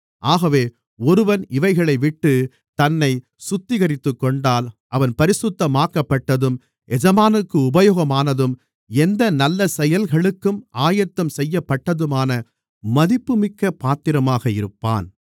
ஆகவே ஒருவன் இவைகளைவிட்டுத் தன்னைச் சுத்திகரித்துக்கொண்டால் அவன் பரிசுத்தமாக்கப்பட்டதும் எஜமானுக்கு உபயோகமானதும் எந்த நல்ல செயல்களுக்கும் ஆயத்தம் செய்யப்பட்டதுமான மதிப்புமிக்கப் பாத்திரமாக இருப்பான்